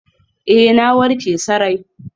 Ee, na warke sarai.